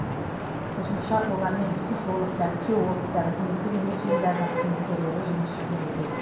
қосымша олармен психологтар теологтар үкіметтік емес ұйымдардың қызметкерлері жұмыс жүргізуде